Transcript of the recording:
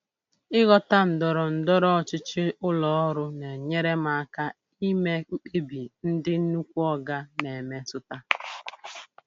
Ịghọta ndọrọ ndọrọ ọchịchị ụlọ ọrụ na-enyere m aka ime mkpebi ndị "nnukwu oga" na-emetụta.